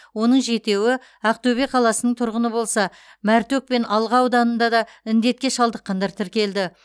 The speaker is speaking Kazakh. оның жетеуі ақтөбе қаласының тұрғыны болса мәртөк пен алға ауданында да індетке шалдыққандар тіркелді